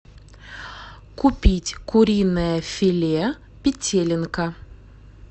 купить куриное филе петелинка